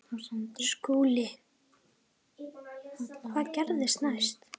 SKÚLI: Hvað gerðist næst?